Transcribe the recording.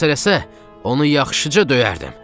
məni xilas eləsə, onu yaxşıca döyərdim.